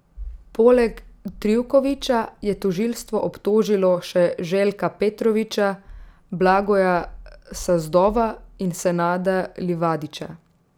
Poleg Trivkovića je tožilstvo obtožilo še Željka Petrovića, Blagoja Sazdova in Senada Livadića.